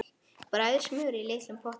Bræðið smjörið í litlum potti.